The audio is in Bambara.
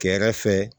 Kɛrɛfɛ